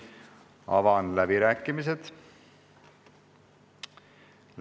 Avan läbirääkimised.